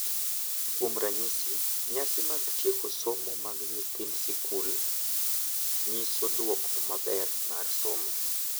Kuom ranyisi, nyasi mag tieko somo mag nyithind skul nyiso duoko maber mar somo,